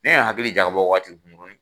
Ne ye n hakili jagabɔ waati kunkurunin